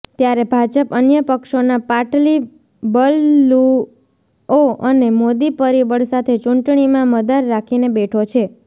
ત્યારે ભાજપ અન્ય પક્ષોના પાટલી બદલુઓ અને મોદી પરિબળ સાથે ચૂંટણીમાં મદાર રાખીને બેઠો છે